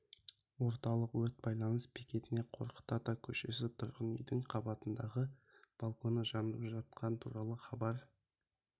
орталық өрт байланыс бекетіне қорқыт ата көшесі тұрғын үйдің қабатындағы балконы жанып жатқаны туралы хабар